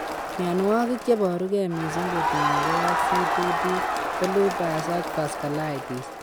Mianwagik cheboru ge mising kotinyegei ak C2D ko lupus ak vasculitis